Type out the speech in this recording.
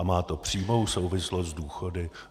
A má to přímou souvislost s důchody.